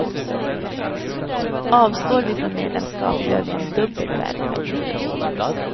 Avstår vi från medlemskap gör vi en dubbel välfärdsförlust.